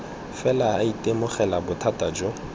fela a itemogela bothata jo